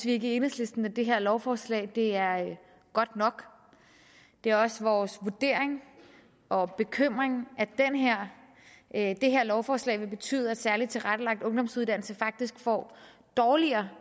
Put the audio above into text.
i enhedslisten at det her lovforslag er godt nok det er også vores vurdering og bekymring at det her lovforslag vil betyde at særligt tilrettelagt ungdomsuddannelse faktisk får dårligere